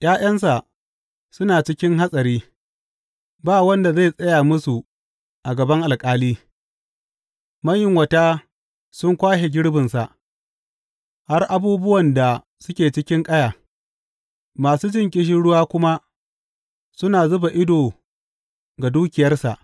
’Ya’yansa suna cikin hatsari, ba wanda zai tsaya musu a gaban alƙali, mayunwata sun kwashe girbinsa, har abubuwan da suke cikin ƙaya, masu jin ƙishirwa kuma suna zuba ido ga dukiyarsa.